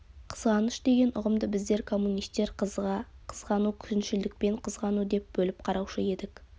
қызғаныш деген ұғымды біздер коммунистер қызыға қызғану күншілдікпен қызғану деп бөліп қараушы едік